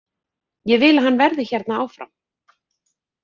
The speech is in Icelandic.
Ég vil að hann verði hérna áfram.